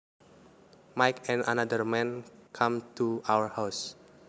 Mike and another man came to our house